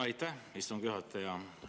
Aitäh, istungi juhataja!